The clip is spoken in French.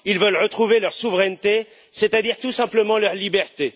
Ils veulent retrouver leur souveraineté, c'est à dire, tout simplement, leur liberté.